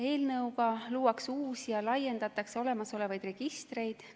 Eelnõu kohaselt luuakse uusi ja laiendatakse olemasolevaid registreid.